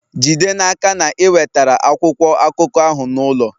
Jide n'aka na ị wetara akwụkwọ akụkọ ahụ n'ụlọ!